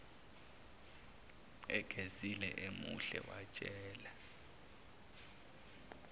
egezile emuhle watshela